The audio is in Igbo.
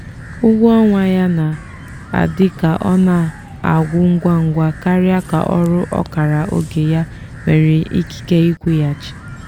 ụgwọ ọnwa ya na-adị ka ọ na-agwụ ngwa ngwa karịa ka ọrụ ọkara oge ya nwere ikike ịkwụghachi.